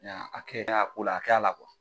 hakɛ, min y'a ko la ,a k'a la